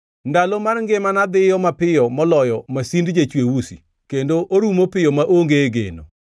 “Ndalo mar ngimana dhiyo mapiyo moloyo masind jachwe usi, kendo orumo piyo maonge geno.